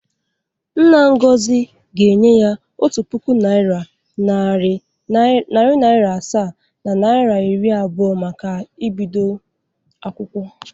Nna Ngozi ga-enye ya otu puku naịra, narị naịra asaa na naịa iri abụọ maka ibdo akwụkwọ.